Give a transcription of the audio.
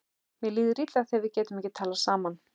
Mér líður illa þegar við getum ekki talað saman.